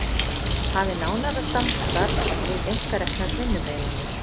Hafi nánara samstarf við einkareknar vinnumiðlanir